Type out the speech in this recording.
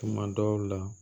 Tuma dɔw la